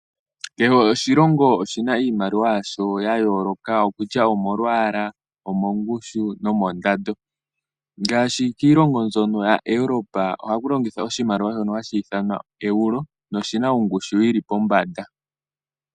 Kehe oshilongo oshina iimaliwa yasho yayooloka kutya omolwaala, omongushu nomondando ngaashi kiilongo mbyono yaEuropa ohaku longithwa oshimaliwa shono hashi ithanwa Euro noshina ongushu yi li pombanda .